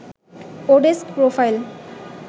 oDesk profile